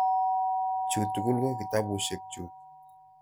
Chu tugul ko kitapusyek chuk.